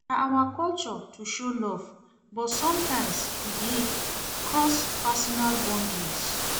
Na our culture to show love, but sometimes e dey cross personal boundaries.